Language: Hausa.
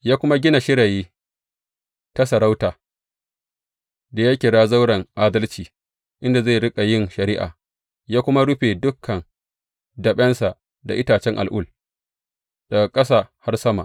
Ya kuma gina shirayi ta sarauta, da ya kira Zauren Adalci, inda zai riƙa yin shari’a, ya kuma rufe dukan daɓensa da itacen al’ul daga ƙasa har sama.